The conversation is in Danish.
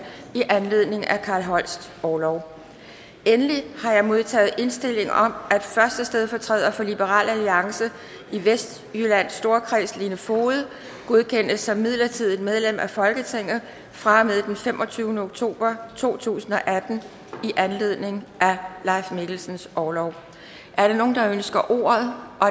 i anledning af carl holsts orlov endelig har jeg modtaget indstilling om at første stedfortræder for liberal alliance i vestjyllands storkreds lene foged godkendes som midlertidigt medlem af folketinget fra og med den femogtyvende oktober to tusind og atten i anledning af leif mikkelsens orlov er der nogen der ønsker ordet